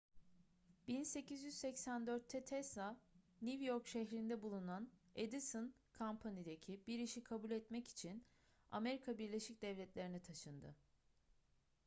1884'te tesla new york şehrinde bulunan edison company'deki bir işi kabul etmek için amerika birleşik devletleri'ne taşındı